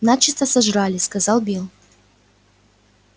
начисто сожрали сказал билл